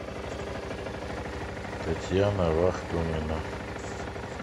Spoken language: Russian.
татьяна вахтомина